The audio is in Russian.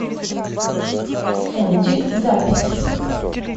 фунтик запись